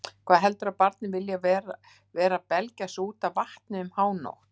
Hvað heldurðu að barnið vilji vera að belgja sig út af vatni um hánótt